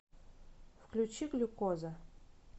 включи глюкоза